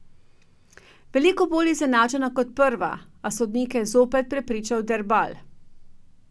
Veliko bolj izenačena kot prva, a sodnike je zopet prepričal Derbal.